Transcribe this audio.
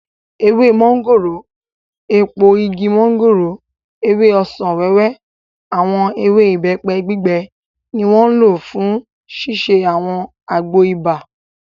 Ewé mọ́ngòrò, èpo igi mọ́ngòrò, ewé ọsàn-wẹ́wẹ́, àwọn ewé ìbẹ́pẹ gbígbẹ ni wọ́n lò fún ṣíṣe àwọn àgbo ibà